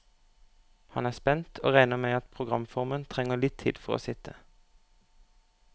Han er spent, og regner med at programformen trenger litt tid for å sitte.